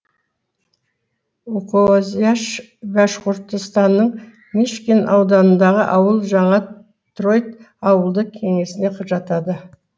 укозяш башқұртстанның мишкин ауданындағы ауыл жаңа троит ауылдық кеңесіне жатады